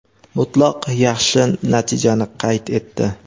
mutlaq yaxshi natijani qayd etdi.